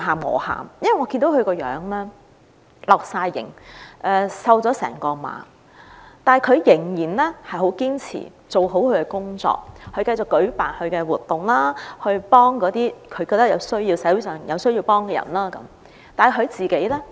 我看到她面容憔悴，瘦了一整圈，但仍然十分堅持做好自己的工作，繼續舉辦活動，幫助社會上需要幫助的人，但她自己呢？